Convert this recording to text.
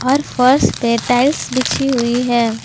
और फर्श पे टाइल्स बिछी हुई है।